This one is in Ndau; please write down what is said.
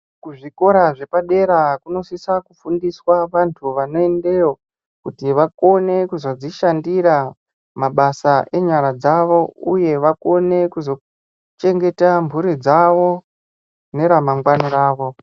Kuzvikora zvepadera kunosisa kufundiswa vantu vanoendeyo kuti vakone kuzodzishandira mabasa enyara dzavo uye vakone kuzochengeta mhuri dzavo neramangwani ravo.